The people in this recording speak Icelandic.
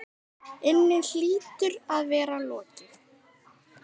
inni hlýtur að vera lokið.